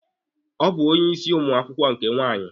Ọ bụ onye isi ụmụ akwụkwọ nke nwaanyị.